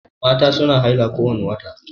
Mata su na haila kowani wata